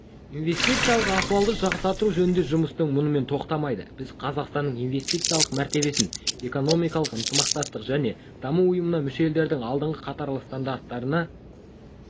инвестициялық ахуалды жақсарту жөніндегі жұмыстар мұнымен тоқтамайды біз қазақстанның инвестициялық мәртебесін экономикалық ынтымақтастық және даму ұйымына мүше елдердің алдыңғы қатарлы стандарттарына